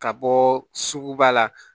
Ka bɔ sugu ba la